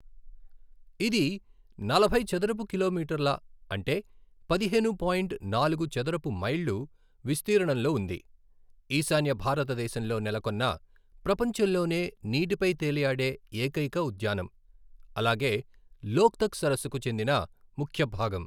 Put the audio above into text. ఇది నలభై చదరపు కిలోమీటర్ల అంటే పదిహేను పాయింట్ నాలుగు చదరపు మైళ్ళు విస్తీర్ణంలో ఉంది, ఈశాన్య భారతదేశంలో నెలకొన్న ప్రపంచంలోనే నీటిపై తేలియాడే ఏకైక ఉద్యానం, అలాగే లోక్తక్ సరస్సుకు చెందిన ముఖ్య భాగం.